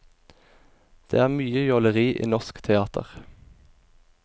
Det er mye jåleri i norsk teater.